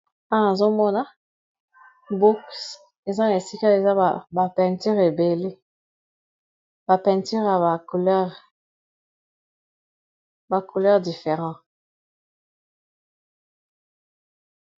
awa azomona books eza na esika eza bapenture ebele bapenture ya bacouleur different